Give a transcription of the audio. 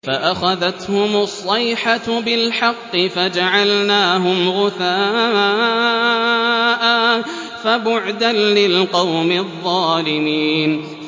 فَأَخَذَتْهُمُ الصَّيْحَةُ بِالْحَقِّ فَجَعَلْنَاهُمْ غُثَاءً ۚ فَبُعْدًا لِّلْقَوْمِ الظَّالِمِينَ